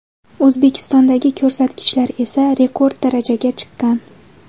O‘zbekistondagi ko‘rsatkichlar esa rekord darajaga chiqqan.